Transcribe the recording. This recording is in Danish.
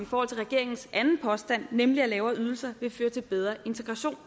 for regeringens anden påstand nemlig at lavere ydelser vil føre til bedre integration